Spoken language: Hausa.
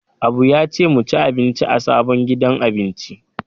Abu ya ce mu ci abinci a sabon gidan abinci.